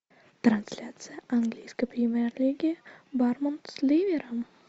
трансляция английской премьер лиги борнмут с ливером